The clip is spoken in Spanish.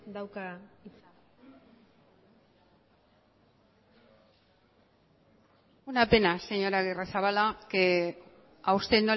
dauka hitza una pena señor agirrezabala que a usted